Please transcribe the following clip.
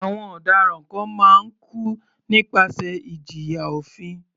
Àwọn ọ̀daràn kan máa ń kú nípasẹ̀ ìjìyà òfin.